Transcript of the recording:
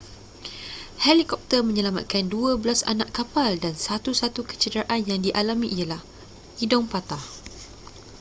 helikopter menyelamatkan dua belas anak kapal dan satu-satu kecederaan yang dialami ialah hidung patah